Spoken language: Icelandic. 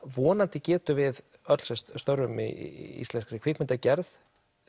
vonandi getum við öll sem störfum í íslenskri kvikmyndagerð